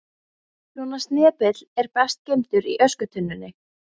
Svona snepill er best geymdur í öskutunnunni.